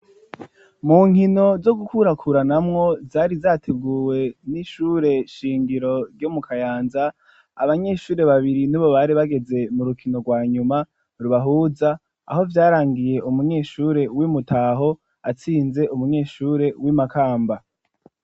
Mu nkino zo gukurakuranamwo zari zateguwe n'ishure shingiro ryo mu Kayanza, abanyeshure babiri nibo bari bageze mu rukino rwa nyuma rubahuza, aho vyarangiye umunyeshure w'Imutaho atsinze umunyeshure w'Imakamba.